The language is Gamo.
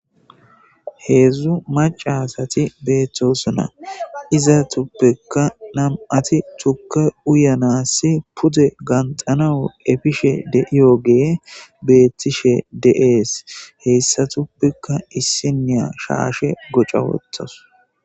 Hezdzdu macca asati betosona izetupoekka namati tuke uyanasinne ganthanasi pude epishe deiyogeyi betishe desi hesatuppekka issinoya shashe hasheni qaxa wothasu